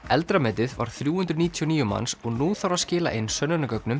eldra metið var þrjú hundruð níutíu og níu manns og nú þarf að skila inn